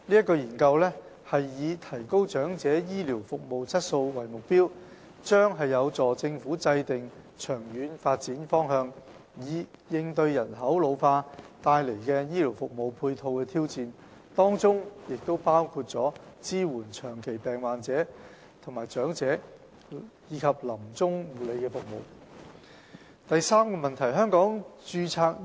該研究以提高長者醫療服務質素為目標，將有助政府制訂長遠發展方向，以應對人口老化帶來醫療服務配套的挑戰，包括支援長期病患者、長者及臨終護理服務。